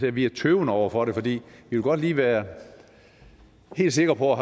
er vi tøvende over for det for vi vil godt lige være helt sikre på at